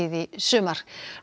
í sumar